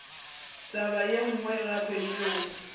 taba ye nngwe gape yeo